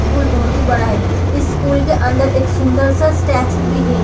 School बहुत ही बड़ा है इस स्कूल के अंदर एक सुंदर सा स्टैचू भी है।